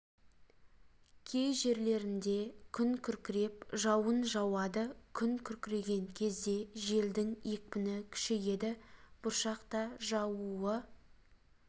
кей жерлерінде күн күркіреп жауын жауады күн күркіреген кезде желдің екпіні күшейеді бұршақ та жаууы